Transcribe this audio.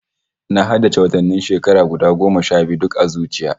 Na haddace watannin shekara guda sha biyu duka a zuciya